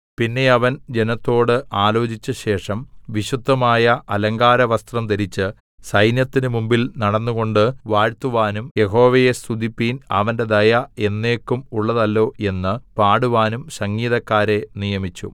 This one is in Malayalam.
പിന്നെ അവൻ ജനത്തോട് ആലോചിച്ച ശേഷം വിശുദ്ധമായ അലങ്കാരവസ്ത്രം ധരിച്ച് സൈന്യത്തിന് മുമ്പിൽ നടന്നുകൊണ്ട് വാഴ്ത്തുവാനും യഹോവയെ സ്തുതിപ്പിൻ അവന്റെ ദയ എന്നേക്കും ഉള്ളതല്ലോ എന്ന് പാടുവാനും സംഗീതക്കാരെ നിയമിച്ചു